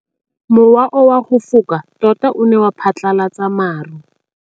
Mowa o wa go foka tota o ne wa phatlalatsa maru.